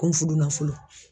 Ko n fudunafolo.